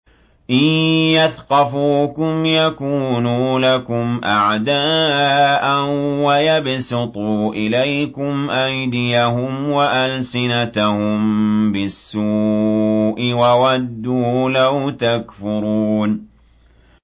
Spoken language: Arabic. إِن يَثْقَفُوكُمْ يَكُونُوا لَكُمْ أَعْدَاءً وَيَبْسُطُوا إِلَيْكُمْ أَيْدِيَهُمْ وَأَلْسِنَتَهُم بِالسُّوءِ وَوَدُّوا لَوْ تَكْفُرُونَ